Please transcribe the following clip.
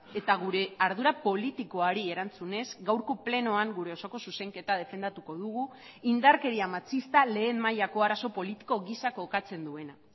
eta gure ardura politikoari erantzunez gaurko plenoan gure osoko zuzenketa defendatuko dugu indarkeria matxista lehen mailako arazo politiko gisa kokatzen duena